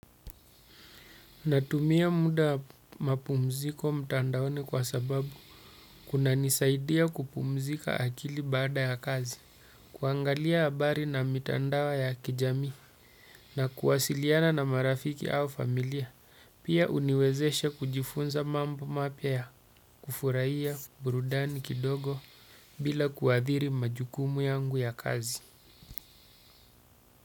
Natumia muda wa mapumziko mtandaoni kwa sababu kunanisaidia kupumzika akili baada ya kazi. Kuangalia habari na mitandao ya kijamii na kuwasiliana na marafiki au familia. Pia huniwezesha kujifunza mambo mapya ya kufurahia burudani kidogo, bila kuathiri majukumu yangu ya kazi.